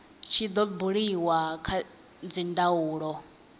tshi do buliwa kha dzindaulo